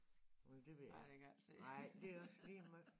Ej det ved jeg ikke. Nej det også ligemeget